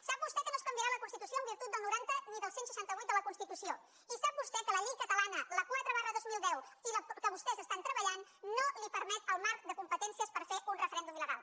sap vostè que no es canviarà la constitució en virtut del noranta ni del cent i seixanta vuit de la constitució i sap vostè que la llei catalana la quatre dos mil deu que vostès estan treballant no li permet el marc de competències per fer un referèndum il·legal